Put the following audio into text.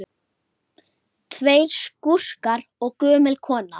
Tveir skúrkar og gömul kona